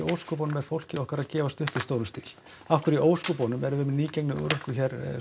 er fólkið okkar þá að gefast upp í stórum stíl af hverju erum við með nýgengna örorku hér